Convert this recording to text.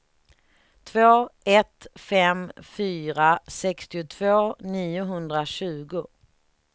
två ett fem fyra sextiotvå niohundratjugo